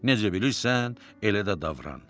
Necə bilirsən, elə də davran.